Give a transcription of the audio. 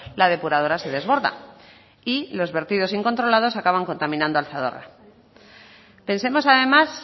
la depuradora se desborda y los vertidos incontrolados acaban contaminando al zadorra pensemos además